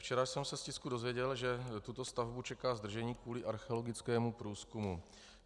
Včera jsem se z tisku dozvěděl, že tuto stavbu čeká zdržení kvůli archeologickému průzkumu.